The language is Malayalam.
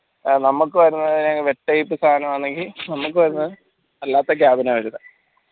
നമ്മക്ക് വരുന്നേ web type സാനാണെങ്കി നമ്മക്ക് വരുന്നേ അല്ലാത്ത cabin അ വരുന്നേ